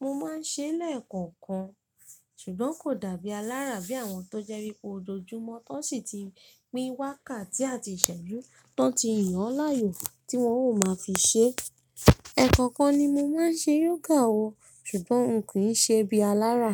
mo máa ń ṣe lẹ́ẹ̀kọ̀kan, ṣùgbọ́n kò dàbí alárà bí àwọn tó jẹ́ wípé ojoojúmọ́ tán sì ti pín wákàtí àti ìṣẹ́jú tó ti yàn láàyò tí wọ́n ó máa fi ṣe. Ẹ̀kọ̀kan ni mo máa ń ṣe yoga o ṣùgbọ́n n kìí ṣe bí alárà.